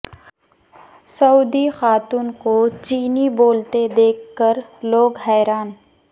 سعودی خاتون کو چینی بولتے دیکھ کر لوگ حیران